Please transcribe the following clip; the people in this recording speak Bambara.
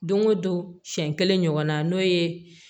Don o don siɲɛ kelen ɲɔgɔn na n'o ye